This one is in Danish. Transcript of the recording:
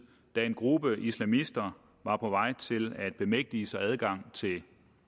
da en gruppe islamister var på vej til at bemægtige sig adgang til